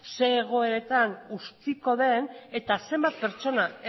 zer egoeretan utziko den eta zenbat pertsona